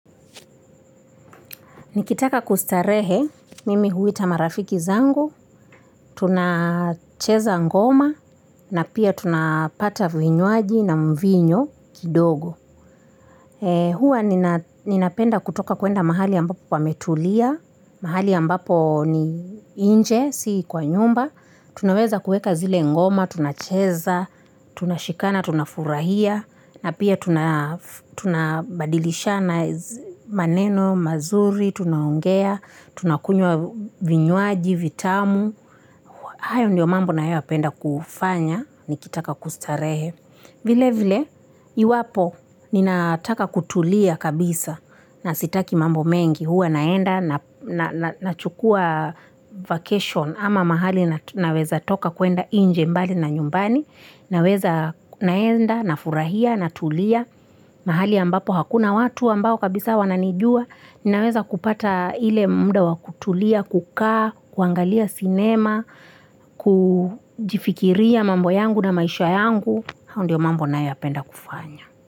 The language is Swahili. Nikitaka kustarehe mimi huita marafiki zangu, tunacheza ngoma na pia tunapata vinywaji na mvinyo kidogo huwa ninapenda kutoka kwenda mahali ambapo pametulia, mahali ambapo ni nje, si kwa nyumba Tunaweza kuweka zile ngoma, tunacheza, tunashikana, tunafurahia na pia tunabadilishana, maneno mazuri, tunaongea, tunakunywa vinywaji vitamu hayo ndiyo mambo ninayoyapenda kufanya nikitaka kustarehe vile vile iwapo, ninataka kutulia kabisa, na sitaki mambo mengi huwa naenda, nachukua vacation, ama mahali naweza toka kwenda nje mbali na nyumbani Naweza naenda, nafurahia, na tulia mahali ambapo, hakuna watu ambao kabisa wananijua Naweza kupata ile muda wakutulia, kukaa, kuangalia sinema, kujifikiria mambo yangu na maisha yangu hayo ndiyo mambo ninayopenda kufanya.